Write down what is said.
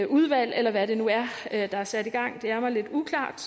udvalg eller hvad det nu er der er sat i gang det er mig lidt uklart